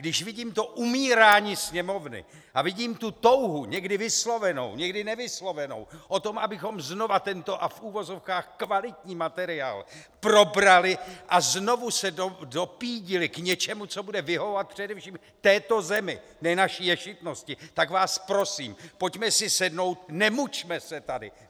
Když vidím to umírání Sněmovny a vidím tu touhu, někdy vyslovenou, někdy nevyslovenou, o tom, abychom znova tento a v uvozovkách kvalitní materiál probrali a znovu se dopídili k něčemu, co bude vyhovovat především této zemi, ne naší ješitnosti, tak vás prosím, pojďme si sednout, nemučme se tady!